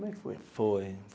Como é que foi? Foi.